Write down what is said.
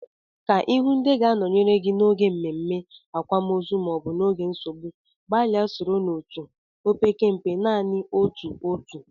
Ka Ị hụụ ndị ga-anọnyere gị n'oge mmemme, akwamozu maọbụ oge nsogbu, gbalịa soro n'otu, opekempe, naanị otu otu.